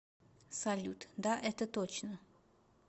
салют да это точно